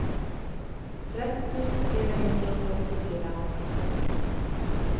tretten tusen fire hundre og sekstifire